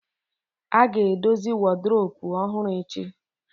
A ga-edozi woduropu ọhụrụ echi